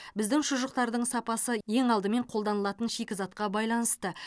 біздің шұжықтардың сапасы ең алдымен қолданылатын шикізатқа байланысты